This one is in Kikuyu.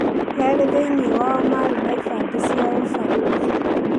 Erĩ thĩinĩĩ wao marĩ na ibandĩ cia ũbarũthi.